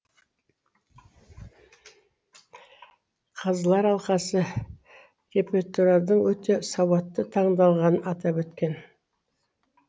қазылар алқасы репертуардың өте сауатты таңдалғанын атап өткен